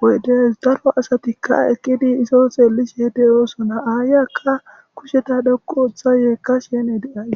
woydes daro asatikka ekqidi iso xeellishe deyoosona aayakka kusheta dhokqu uththa yeekka shene deay